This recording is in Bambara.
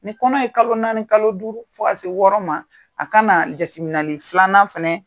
Ni kɔnɔ ye kalo naani, kalo duuru, fo ka se wɔɔrɔ ma, a ka na jateminɛli filanan fɛnɛ